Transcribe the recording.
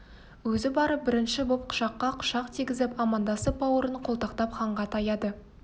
өзі барып бірінші боп құшаққа құшақ тигізіп амандасып бауырын қолтықтап ханға таяды